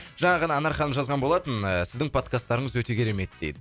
жаңа ғана анар ханым жазған болатын ыыы сіздің подкастарыңыз өте керемет деп